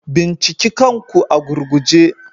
Binciki kanku a gurguje.